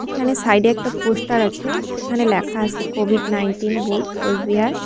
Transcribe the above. এখানে সাইডে একটা পোস্টার আছে সেখানে লেখা আসে কোভিড নাইনটিন বুথ কোচবিহার।